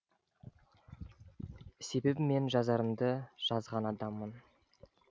себебі мен жазарымды жазған адаммын